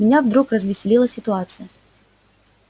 меня вдруг развеселила ситуация